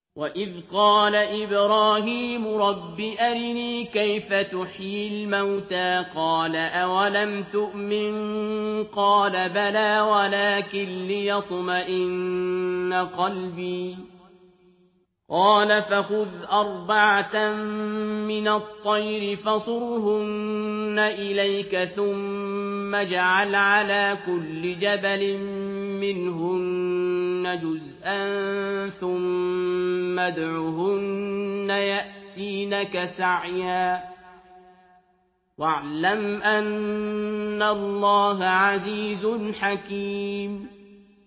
وَإِذْ قَالَ إِبْرَاهِيمُ رَبِّ أَرِنِي كَيْفَ تُحْيِي الْمَوْتَىٰ ۖ قَالَ أَوَلَمْ تُؤْمِن ۖ قَالَ بَلَىٰ وَلَٰكِن لِّيَطْمَئِنَّ قَلْبِي ۖ قَالَ فَخُذْ أَرْبَعَةً مِّنَ الطَّيْرِ فَصُرْهُنَّ إِلَيْكَ ثُمَّ اجْعَلْ عَلَىٰ كُلِّ جَبَلٍ مِّنْهُنَّ جُزْءًا ثُمَّ ادْعُهُنَّ يَأْتِينَكَ سَعْيًا ۚ وَاعْلَمْ أَنَّ اللَّهَ عَزِيزٌ حَكِيمٌ